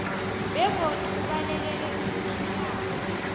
begodu ubalekele ukuthintana